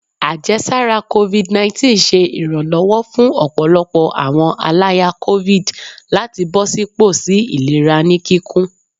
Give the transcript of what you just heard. Ajẹsara covid19 ṣe iranlọwọ fun ọpọlọpọ awọn alaya covid lati bọsipọ si ilera ni kikun